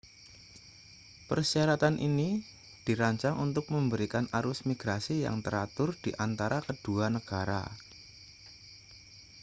persyaratan ini dirancang untuk memberikan arus migrasi yang teratur di antara kedua negara